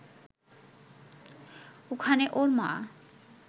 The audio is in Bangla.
ওখানে ওর মা